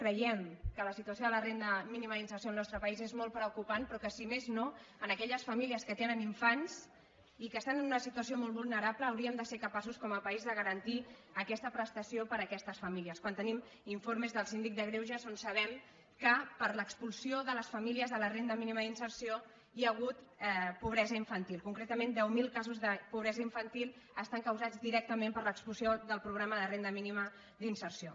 creiem que la situació de la renda mínima d’inserció al nostre país és molt preocupant però que si més no en aquelles famílies que tenen infants i que estan en una situació molt vulnerable hauríem de ser capaços com a país de garantir aquesta prestació per a aquestes famíli·es quan tenim informes del síndic de greuges on sabem que per l’expulsió de les famílies de la renda mínima d’inserció hi ha hagut pobresa infantil concretament deu mil casos de pobresa infantil estan causats directa·ment per l’expulsió del programa de renda mínima d’in·serció